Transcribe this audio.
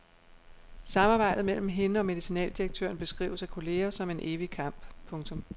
Samarbejdet mellem hende og medicinaldirektøren beskrives af kolleger som en evig kamp. punktum